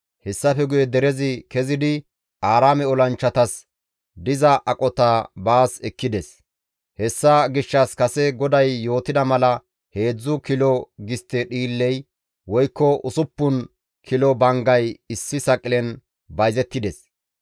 Hessafe guye derezi kezidi Aaraame olanchchatas diza aqota baas ekkides; hessa gishshas kase GODAY yootida mala heedzdzu kilo gistte dhiilley woykko usuppun kilo banggay issi saqilen bayzettides.